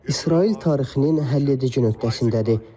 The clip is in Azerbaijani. İsrail tarixinin həlledici nöqtəsindədir.